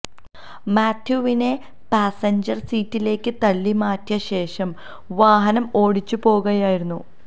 മാത്യുവിനെ passenger സീറ്റിലേക്ക് തള്ളി മാറ്റിയ ശേഷം വാഹനം ഓടിച്ചു പോകുകയായിരുന്നു